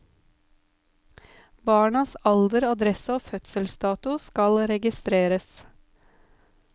Barnas alder, adresse og fødselsdato skal registreres.